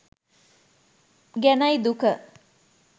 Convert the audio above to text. ගැනයි දුක.